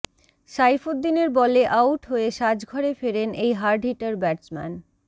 সাইফুদ্দিনের বলে আউট হয়ে সাজঘরে ফেরেন এই হার্ডহিটার ব্যাটসম্যান